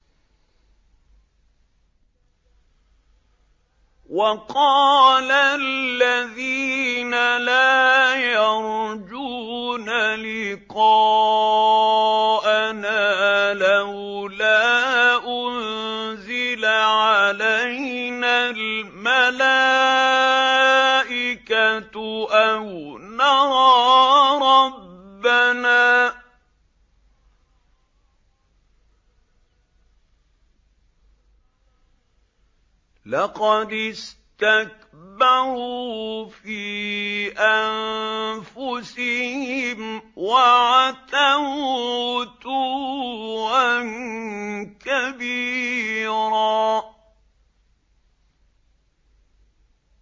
۞ وَقَالَ الَّذِينَ لَا يَرْجُونَ لِقَاءَنَا لَوْلَا أُنزِلَ عَلَيْنَا الْمَلَائِكَةُ أَوْ نَرَىٰ رَبَّنَا ۗ لَقَدِ اسْتَكْبَرُوا فِي أَنفُسِهِمْ وَعَتَوْا عُتُوًّا كَبِيرًا